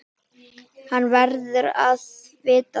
Hann verður að vita það.